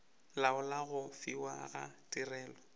laola go fiwa ga tirelo